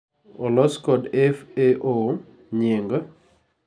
olos kod FAO: Nying